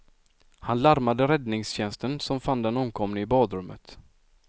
Han larmade räddningstjänsten som fann den omkomne i badrummet.